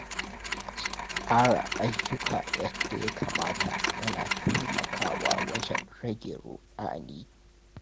Tsara ayyuka yadda ya kamata yana taimakawa wajen rage ruɗani.